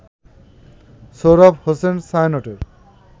Sohrab Hossain ছায়ানটের